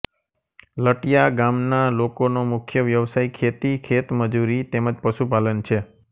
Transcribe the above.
લટીયા ગામના લોકોનો મુખ્ય વ્યવસાય ખેતી ખેતમજૂરી તેમ જ પશુપાલન છે